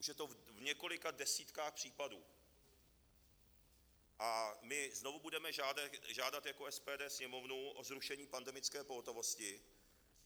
Už je to v několika desítkách případů a my znovu budeme žádat jako SPD Sněmovnu o zrušení pandemické pohotovosti.